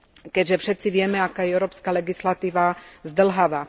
Keďže všetci vieme, aká je európska legislatíva zdĺhavá.